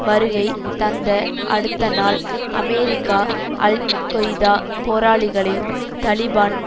வருகை தந்த அடுத்தநாள் அமெரிக்கா அல் கொய்தா போராளிகளையும் தலிபான்